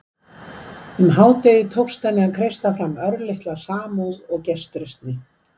Undir hádegið tókst henni að kreista fram örlitla samúð og gestrisni.